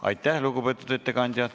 Aitäh, lugupeetud ettekandja!